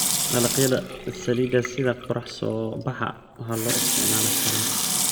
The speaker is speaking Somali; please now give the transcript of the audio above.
Dalagyada saliidda sida qorrax-soo baxa waxaa loo isticmaalaa karinta.